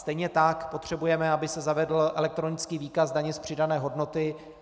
Stejně tak potřebujeme, aby se zavedl elektronický výkaz daně z přidané hodnoty.